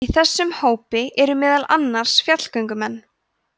í þessum hópi eru meðal annars fjallgöngumenn